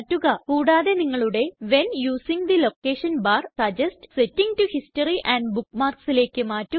കൂടാതെ നിങ്ങളുടെ when using the location bar suggest setting to history and Bookmarksലേയ്ക്ക് മാറ്റുക